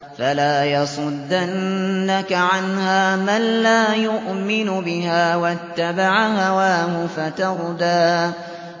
فَلَا يَصُدَّنَّكَ عَنْهَا مَن لَّا يُؤْمِنُ بِهَا وَاتَّبَعَ هَوَاهُ فَتَرْدَىٰ